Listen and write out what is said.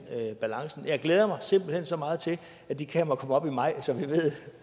balancen jeg glæder mig simpelt hen så meget til at de kameraer kommer op i maj så vi ved